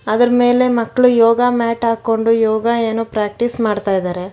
ಅದ್ರು ಮೇಲೆ ಮಕ್ಕಳು ಯೋಗ ಮ್ಯಾಟ್ ಹಾಕೊಂಡು ಯೋಗ ಏನೋ ಪ್ರಾಕ್ಟೀಸ್ ಮಾಡ್ತಾ ಇದಾರೆ.